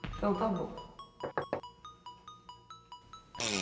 Então tá bom.